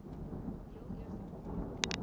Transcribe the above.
heel eerste probeer